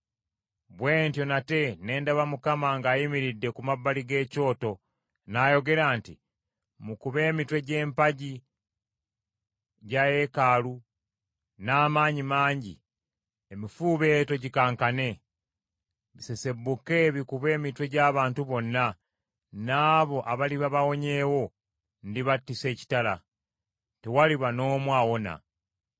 Bwe ntyo nate ne ndaba Mukama ng’ayimiridde ku mabbali g’ekyoto, n’ayogera nti, “Mukube emitwe gy’empagi bya yeekaalu n’amaanyi mangi, emifuubeeto gikankane. Bisesebbuke bikube emitwe gy’abantu bonna, n’abo abaliba bawonyeewo ndibattisa ekitala. Tewaliba n’omu awona.